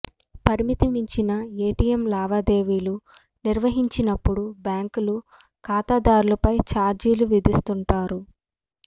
పరిమితి మించిన ఏటీఎం లావాదేవీలు నిర్వహించినప్పుడు బ్యాంకులు ఖాతాదారులపై చార్జీలు విధిస్తుంటాయి